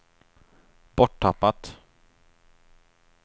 borttappat